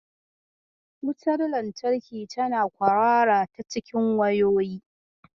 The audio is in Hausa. Wutar lantarki tana kwarara ta cikin wayoyi.